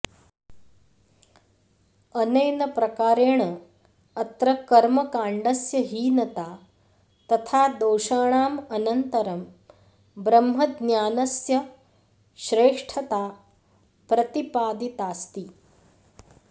अनेन प्रकारेण अत्र कर्मकाण्डस्य हीनता तथा दोषाणामनन्तरं ब्रह्मज्ञानस्य श्रेष्ठता प्रतिपादितास्ति